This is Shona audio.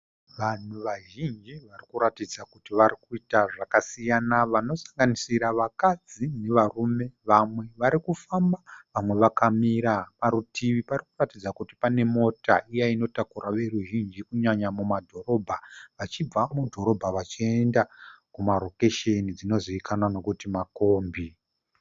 Vanhu vazhinji varikuratidza kuti varikuita zvakasiyana. Vanosanganisira vakadzi nevarume. Vamwe varikufamba vamwe vakamira. Parutivi parikuratidza kuti pane mota iya inotakura veruzhinji kunyanya muma dhorobha, vachibva mudhorobha vachiyenda kuma rokesheni dzinozivikanwa nokuti makombi.